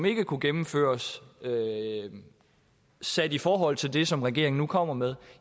ikke kunne gennemføres sat i forhold til det som regeringen kommer med